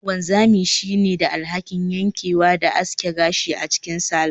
Wanzami ne ke da alhakin yankewa da aske gashi a cikin salon